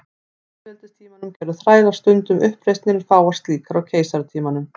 Á lýðveldistímanum gerðu þrælar stundum uppreisnir en fáar slíkar á keisaratímanum.